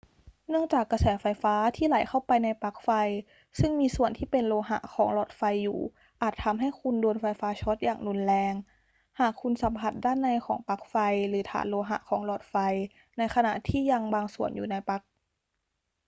เนื่องจากกระแสไฟฟ้าที่ไหลเข้าไปในปลั๊กไฟซึ่งมีส่วนที่เป็นโลหะของหลอดไฟอยู่อาจทำให้คุณโดนไฟฟ้าช็อตอย่างรุนแรงหากคุณสัมผัสด้านในของปลั๊กไฟหรือฐานโลหะของหลอดไฟในขณะที่ยังบางส่วนอยู่ในปลั๊ก